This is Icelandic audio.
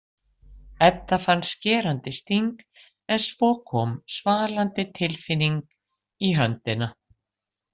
Edda fann skerandi sting en svo kom svalandi tilfinning í höndina.